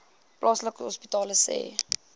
plaaslike hospitale sê